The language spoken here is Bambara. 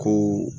Ko